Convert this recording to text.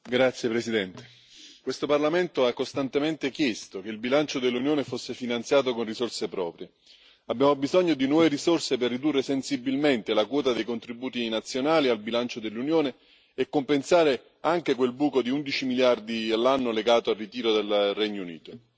Signor Presidente, onorevoli colleghi, questo Parlamento ha costantemente chiesto che il bilancio dell'Unione fosse finanziato con risorse proprie. Abbiamo bisogno di nuove risorse per ridurre sensibilmente la quota dei contributi nazionali al bilancio dell'Unione e compensare anche quel buco di 11 miliardi all'anno legato al ritiro del Regno Unito.